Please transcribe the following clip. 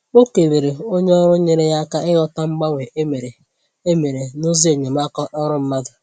Ọ kelere onye ọrụ nyere ya aka ịghọta mgbanwe e mere e mere n’ụzọ enyemaka ọrụ mmadụ